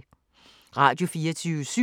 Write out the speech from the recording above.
Radio24syv